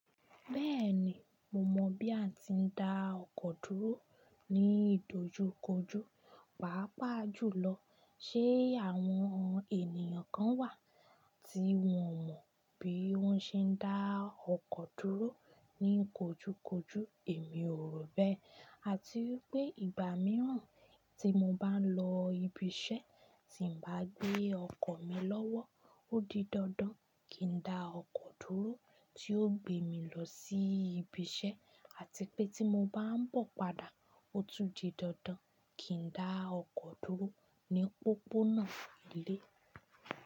Bẹ́ẹ̀ni, mo mọ̀ bí a ti ń dá ọkọ̀ dúró ní ìdojúkojú, pàápàá jùlọ, ṣe àwọn ènìyàn kan wà tí wọn ò mọ̀ bí wọ́n ṣe ń dá ọkọ̀ dúró ní kojúkojú? Èmi ò rò bẹ́ẹ̀. Àti wípé ìgbà mìíràn tí mo bá ń lọ ibi ise tí bá gbé ọkọ̀ mi lọ́wọ́, ó di dandan kí n dá ọkọ̀ dúró tí ó gbé mi lọ sí ibi isẹ́ àti pé tí mo bá ń bọ̀ padà, ó tún di dandan kí n dá ọkọ̀ dúró ní pópónà ilé.